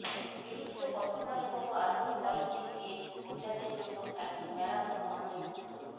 এটি ছিল প্রথমবারের মতো আধুনিক অলিম্পিক গেমস মহিলাদের জন্য একটি ম্যারাথন অন্তর্ভুক্ত